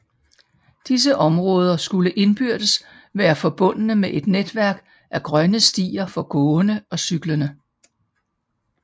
Disse områder skulle indbyrdes være forbundne med et netværk af grønne stier for gående og cyklende